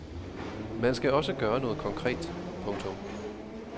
Man skal også gøre noget konkret. punktum